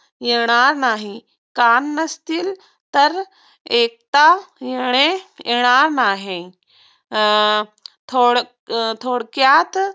येणार नाही. कान नसतील तरआईकता येणे येणार नाही. अं थोडथोडक्यात